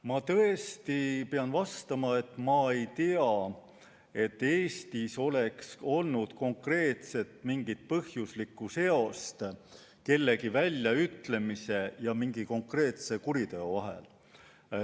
Ma tõesti pean vastama, et ma ei tea, et Eestis oleks olnud konkreetset põhjuslikku seost kellegi väljaütlemise ja mingi konkreetse kuriteo vahel.